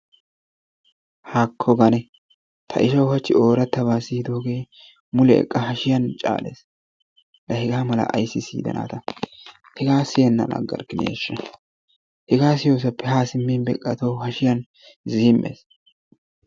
Haakko gane! ta ishaw hachchi oorattaba siyyidooge mule eqqa hashiyan caales. la hega mala ayssi siyidana ta! hegaa siyyenan aggarkkinaashsha! hega siyyoosappe beqqa tawu hashiyaan ziimmes.